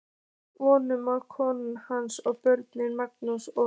Voru kona hans og börn, Magnús og